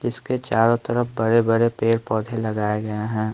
इसके चारों तरफ बड़े-बड़े पेड़-पौधे लगाए गए हैं।